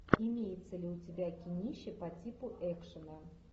имеется ли у тебя кинище по типу экшена